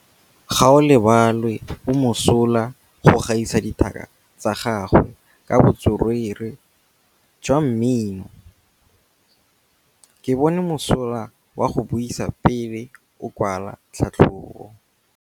Gaolebalwe o mosola go gaisa dithaka tsa gagwe ka botswerere jwa mmino. Ke bone mosola wa go buisa pele o kwala tlhatlhobô.